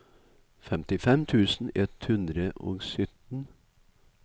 femtifem tusen ett hundre og sytten